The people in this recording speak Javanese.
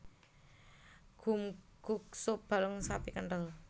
Gomguk sup balung sapi kenthel